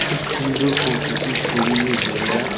খুব সুন্দর প্রকৃতি সবুজে ঘেরা।